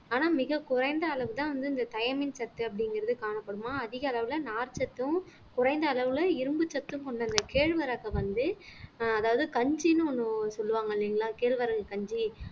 ஆனா மிகக் குறைந்த அளவுதான் வந்து இந்த cyamine சத்து அப்படிங்கறது காணப்படுமாம் அதிக அளவுல நார்ச்சத்தும் குறைந்த அளவுல இரும்புச்சத்தும் கொண்ட இந்த கேழ்வரகை வந்து அதாவது கஞ்சின்னு ஒண்ணு சொல்லுவாங்க இல்லைங்களா கேழ்வரகு கஞ்சி